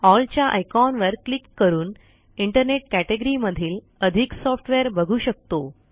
L च्या आयकॉनवर click करून इंटरनेट कॅटेगरी मधील अधिक सॉफ्टवेअर बघू शकतो